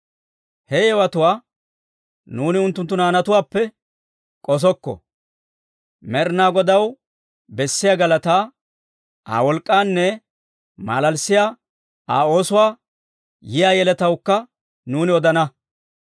He yewotuwaa nuuni unttunttu naanatuwaappe k'osokko; Med'inaa Godaw bessiyaa galataa, Aa wolk'k'aanne malalissiyaa Aa oosuwaa, yiyaa yeletawukka nuuni odana.